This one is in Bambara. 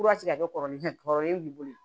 ka kɛ kɔrɔlen kɔrɔlen bolo ye